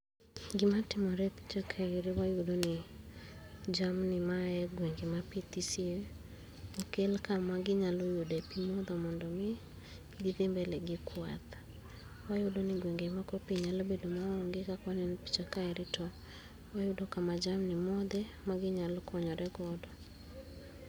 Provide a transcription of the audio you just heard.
Gima timore kaeri wayudo ni jamni mayae gwenge ma pii thisie okel kama ginyalo yudo pii modho mondo githi mbele gi kwath, wayudo ni gwenge moko pii nyalo bedo maonge kaka waneno e picha kae to wayudo kama jamni modhe ma ginyalo konyre godo.